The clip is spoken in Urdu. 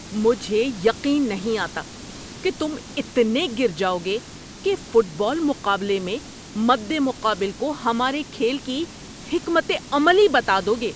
مجھے یقین نہیں آتا کہ تم اتنے گر جاؤ گے کہ فٹ بال مقابلے میں مد مقابل کو ہمارے کھیل کی حکمت عملی بتا دو گے۔